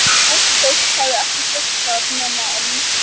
Ungt fólk hafði ekki sést þar nema á myndum.